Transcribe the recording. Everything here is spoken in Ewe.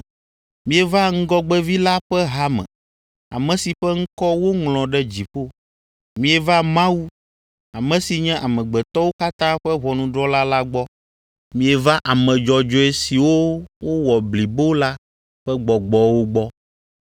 Mieva ŋgɔgbevi la ƒe hame, ame si ƒe ŋkɔ woŋlɔ ɖe dziƒo. Mieva Mawu, ame si nye amegbetɔwo katã ƒe ʋɔnudrɔ̃la la gbɔ. Mieva ame dzɔdzɔe siwo wowɔ blibo la ƒe gbɔgbɔwo gbɔ,